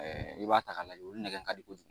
I b'a ta ka lajɛ olu nɛgɛn ka di kojugu